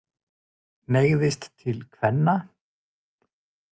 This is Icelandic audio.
Hneigðist til kvenna.